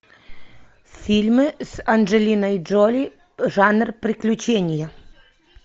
фильмы с анджелиной джоли жанр приключения